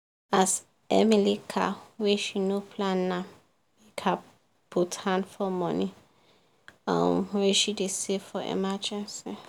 as emily car wey she no plan m make her put hand for money um wey she dey save for emergency